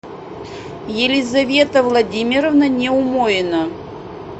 елизавета владимировна неумоина